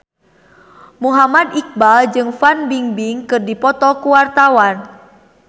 Muhammad Iqbal jeung Fan Bingbing keur dipoto ku wartawan